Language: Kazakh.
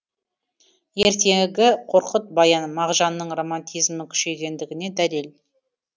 ертегі қорқыт баян мағжанның романтизмі күшейгендігіне дәлел